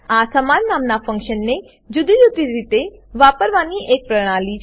આ સમાન નામનાં ફંક્શન ને જુદી જુદી રીતે વાપરવાની એક પ્રણાલી છે